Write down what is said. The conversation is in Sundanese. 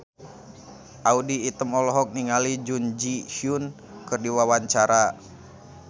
Audy Item olohok ningali Jun Ji Hyun keur diwawancara